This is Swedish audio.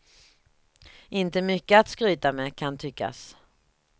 Inte mycket att skryta med, kan tyckas.